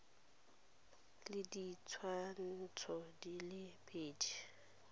le ditshwantsho di le pedi